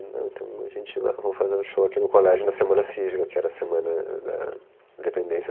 Então, a gente vai, vamos fazer um show aqui no colégio na semana cívica, que era a semana da independência